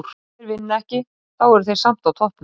Og ef þeir vinna ekki, þá eru þeir samt á toppnum.